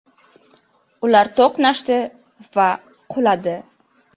Ular to‘qnashdi va quladi.